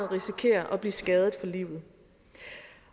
risikerer at blive skadet for livet